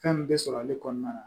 Fɛn min bɛ sɔrɔ ale kɔnɔna na